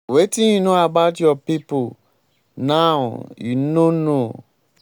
wetin you know about your people people now? you no know.